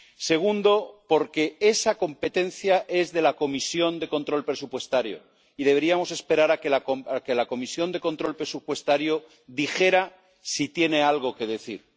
Segundo porque esa competencia es de la Comisión de Control Presupuestario y deberíamos esperar a que la Comisión de Control Presupuestario dijera si tiene algo que decir.